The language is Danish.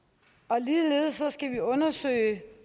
ligeledes skal vi undersøge